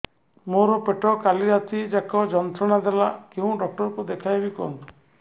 ମୋର ପେଟ କାଲି ରାତି ଯାକ ଯନ୍ତ୍ରଣା ଦେଲା କେଉଁ ଡକ୍ଟର ଙ୍କୁ ଦେଖାଇବି କୁହନ୍ତ